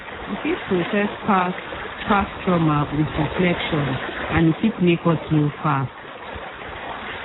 we fit process past past trauma with reflection and e fit make us heal fast